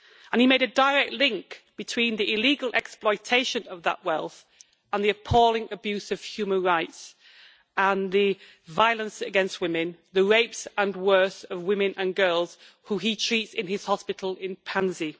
He made a direct link between the illegal exploitation of that wealth and the appalling abuse of human rights and violence against women, the rapes and worse of women and girls, who he treats in his hospital in Panzi.